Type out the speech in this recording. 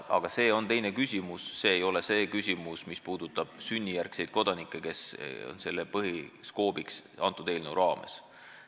Aga see on teine küsimus, see ei puuduta sünnijärgseid kodanikke, kes on selle eelnõu põhiskoobiks.